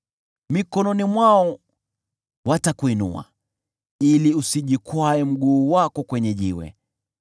Mikononi mwao watakuinua, ili usijikwae mguu wako kwenye jiwe.